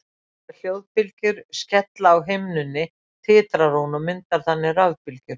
þegar hljóðbylgjur skella á himnunni titrar hún og myndar þannig rafbylgjur